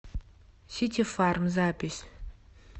сити фарм запись